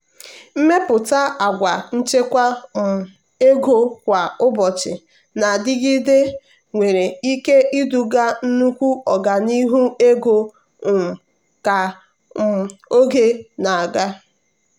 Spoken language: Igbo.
ịmepụta àgwà nchekwa um ego kwa ụbọchị na-adịgide nwere ike iduga nnukwu ọganihu ego um ka um oge na-aga.